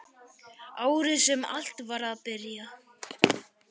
Árið sem allt var að byrja.